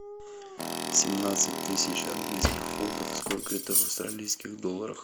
семнадцать тысяч английских фунтов сколько это в австралийских долларах